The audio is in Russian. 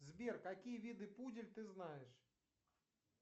сбер какие виды пудель ты знаешь